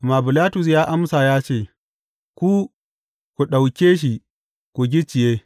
Amma Bilatus ya amsa ya ce, Ku, ku ɗauke shi ku gicciye.